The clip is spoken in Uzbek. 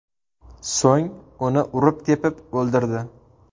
So‘ng uni urib-tepib o‘ldirdi.